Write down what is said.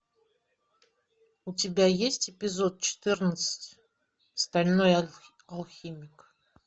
у тебя есть эпизод четырнадцать стальной алхимик